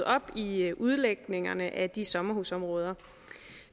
op i udlægningerne af de sommerhusområder